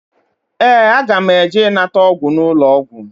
Ee, aga m eje ịnata ọgwụgwọ n'ụlọọgwụ